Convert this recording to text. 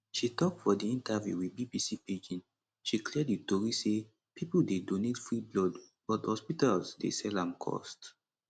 she tok for di interview wit bbc pidgin she clear di tori say pipo dey donate free blood but hospitals dey sell am cost